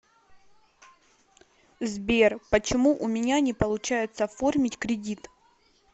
сбер почему у меня не получается оформить кредит